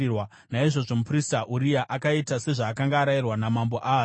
Naizvozvo muprista Uria akaita sezvaakanga arayirwa naMambo Ahazi.